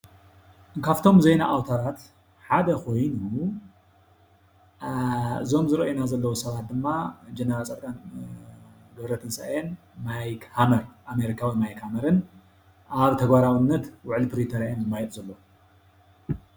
ኻፍቶም ዜና ኣውታራት ሓደ ኾይኑ እዞም ዝርኦይና ዘለው ሰባት ድማ ጀነራል ፃድቃን ገብረትንሳኤን ማይክ ሃመር ኣሜሪካዊ ማይክ ሃመርን ኣብ ተግባራውነት ውዕል ፕሪቶሪያ እዮም ዝመያየጡ ዘለዉ።